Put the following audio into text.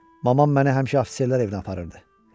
Mamam məni həmişə afitserlər evindən aparırdı.